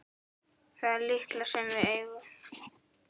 Það litla sem við eigum.